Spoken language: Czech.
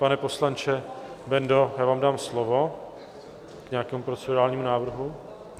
Pane poslanče Bendo, já vám dám slovo k nějakému procedurálnímu návrhu.